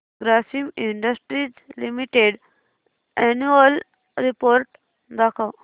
Grasim industries limited annual report दाखव